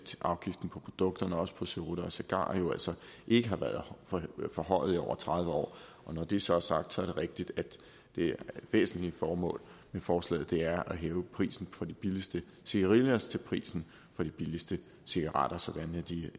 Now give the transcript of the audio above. at afgiften på produkterne også på cerutter og cigarer jo altså ikke har været forhøjet i over tredive år og når det så er sagt det er rigtigt at det væsentlige formål med forslaget er at hæve prisen på de billigste cigarillos til prisen på de billigste cigaretter sådan at de